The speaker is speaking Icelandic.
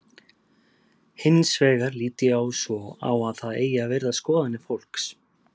Hins vegar lít ég svo á að það eigi að virða skoðanir fólks.